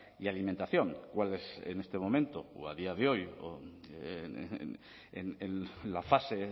y alimentación cuál es en este momento o a día de hoy en la fase